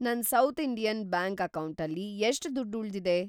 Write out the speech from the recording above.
ನನ್‌ South Indian Bank ಅಕೌಂಟಲ್ಲಿ ಎಷ್ಟ್‌ ದುಡ್ಡ್‌ ಉಳ್ದಿದೆ?